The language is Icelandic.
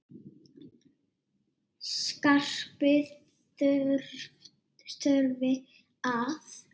Skarpi þurfi að.